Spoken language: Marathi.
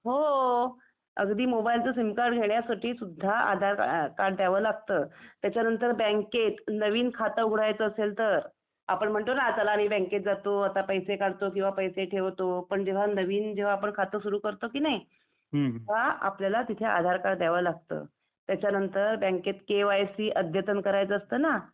हो .. अगदी मोबाईलचं सिम कार्ड घेण्यासाठी सुद्धा आधार कार्ड द्यावं लागतं. त्याच्या नंतर बँकेत नवीन खातं उघडायचं असेल तर . आपण म्हणतो ना चला रे आता बँकेत जातो आता पैसे काढतो किंवा पैसे ठेवतो. पण जेव्हा नवीन आपण जेव्हा खातं सुरु करतो कि नई तेव्हा पल्याला तिथे आधार कार्ड द्यावं लागतं . त्याचा नंतर बँकेत के वाय सी अद्यतन करायचा असतं ना ?